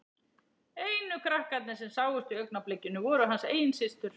Einu krakkarnir sem sáust í augnablikinu voru hans eigin systur.